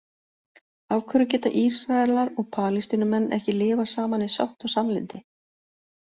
Af hverju geta Ísraelar og Palestínumenn ekki lifað saman í sátt og samlyndi?